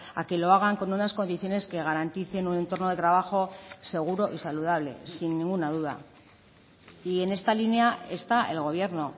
a que lo hagan con unas condiciones que garanticen un entorno de trabajo seguro y saludable sin ninguna duda y en esta línea está el gobierno